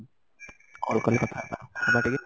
call କଲି କଥା ହବା ହବା ଟିକେ